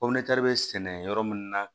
bɛ sɛnɛ yɔrɔ min na